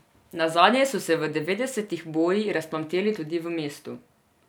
Nazadnje so se v devetdesetih boji razplamteli tudi v mestu.